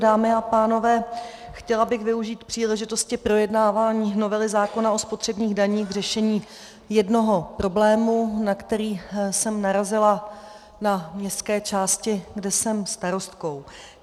Dámy a pánové, chtěla bych využít příležitosti projednávání novely zákona o spotřebních daních k řešení jednoho problému, na který jsem narazila na městské části, kde jsem starostkou.